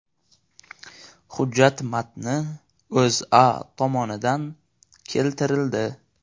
Hujjat matni O‘zA tomonidan keltirildi.